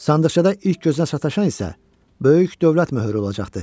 Sandıqçadan ilk gözünə sataşan isə böyük dövlət möhrü olacaq.